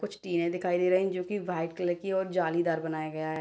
कुछ टीने दिखाई दे रही है जो की व्हाइट कलर की और जालीदार बनाया गया है।